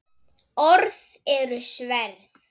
Orð eru sverð.